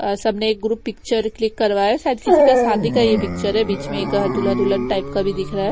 अ सब ने एक ग्रुप पिक्चर क्लिक कर वाया शायद किसी का ये शादी का ये पिक्चर है बीच में एक दूल्हा दुल्हन टाइप का भी दिखरा है।